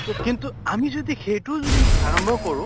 তʼ কিন্তু আমি যদি সেইট যদি আৰম্ভ কৰোঁ